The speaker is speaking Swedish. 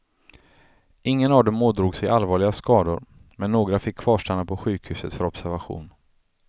Ingen av dem ådrog sig allvarliga skador, men några fick kvarstanna på sjukhuset för observation.